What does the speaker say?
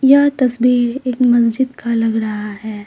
यह तस्वीर एक मस्जिद का लग रहा है।